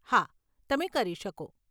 હા, તમે કરી શકો.